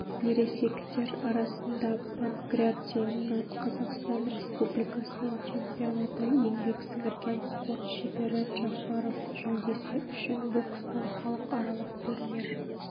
ересектер арасында панкратионнан қазақстан республикасының чемпионаты еңбек сіңірген спорт шебері джафаров жүлдесі үшін бокстан халықаралық турнир